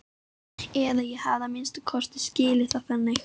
Eða ég hef að minnsta kosti skilið það þannig.